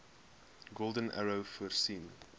golden arrow voorsien